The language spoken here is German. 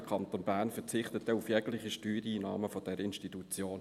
Der Kanton Bern verzichtet auf jegliche Steuereinahmen dieser Institution.